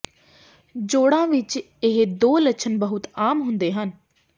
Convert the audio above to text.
ਜੋੜਾਂ ਵਿੱਚ ਇਹ ਦੋ ਲੱਛਣ ਬਹੁਤ ਆਮ ਹੁੰਦੇ ਹਨ